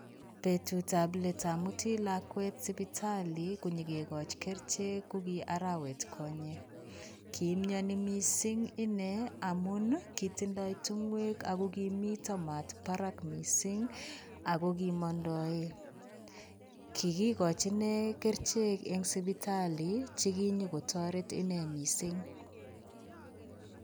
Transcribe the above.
Petutab let amuti lakwet supitali konyo kegachi kerichek ko ki arawetkonye. Kimiani mising ine amun ii, kitindoi tingwek ago kimita mat batak mising ago kimandoe. Kigigachi inne kerichek eng sipitali cheginyogotaret inne mising